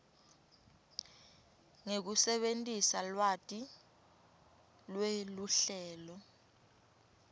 ngekusebentisa lwati lweluhlelo